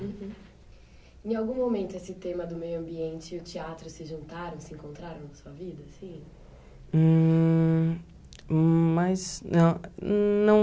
Em algum momento esse tema do meio ambiente e o teatro se juntaram, se encontraram na sua vida, assim? Hum mais não não